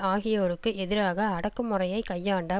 ஆகியோருக்கு எதிராக அடக்கு முறையை கையாண்ட